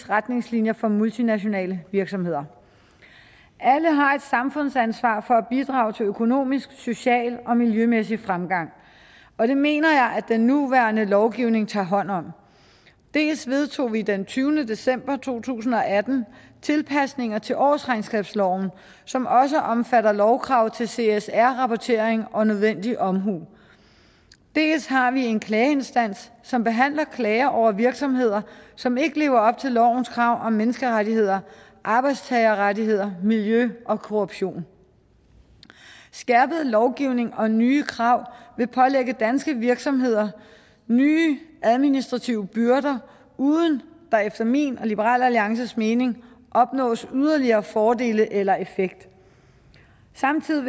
retningslinjer for multinationale virksomheder alle har et samfundsansvar for at bidrage til økonomisk social og miljømæssig fremgang og det mener jeg at den nuværende lovgivning tager hånd om dels vedtog vi den tyvende december to tusind og atten tilpasninger til årsregnskabsloven som også omfatter lovkrav til csr rapportering og nødvendig omhu dels har vi en klageinstans som behandler klager over virksomheder som ikke lever op til lovens krav om menneskerettigheder arbejdstagerrettigheder miljø og korruption skærpet lovgivning og nye krav vil pålægge danske virksomheder nye administrative byrder uden der efter min og liberal alliances mening opnås yderligere fordele eller effekt samtidig